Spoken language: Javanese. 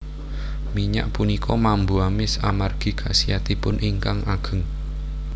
Minyak punika mambu amis amargi khasiatipun ingkang ageng